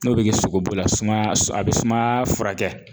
N'o bi kɛ sogobula sumaya a be sumaya furakɛ.